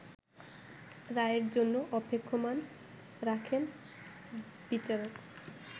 রায়ের জন্য অপেক্ষমাণ রাখেন বিচারক